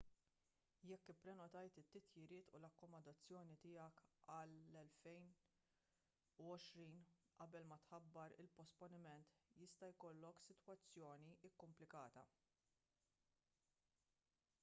jekk ipprenotajt it-titjiriet u l-akkomodazzjoni tiegħek għall-2020 qabel ma tħabbar il-posponiment jista' jkollok sitwazzjoni kumplikata